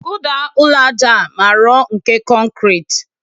Kụda ụlọ aja a ma rọ nke kọnkrị